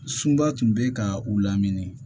Sunba tun bɛ ka u lamini